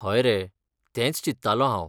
हय रे, तेंच चिंत्तालों हांव.